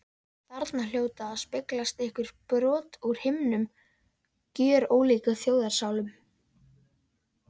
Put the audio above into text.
Þarna hljóta að speglast einhver brot úr hinum gjörólíku þjóðarsálum.